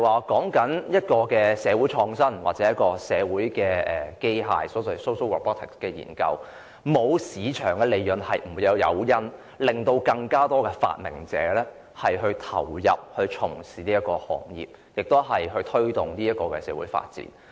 根據社會創新或社會機械的研究，如果沒有市場利潤作為誘因，便無法吸引發明者加入這行業，無法推動社會發展。